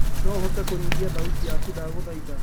no uhote kunyihia thaũtĩ yakũ ndagũthaĩtha